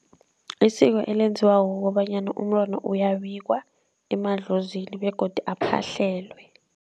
Isiko elenziwako kobanyana umntwana uyabikwa emadlozini begodu aphahlelwe.